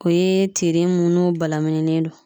O ye tiri mun n'o balamininen do